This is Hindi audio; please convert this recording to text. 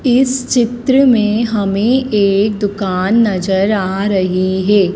इस चित्र में हमें एक दुकान नजर आ रही है।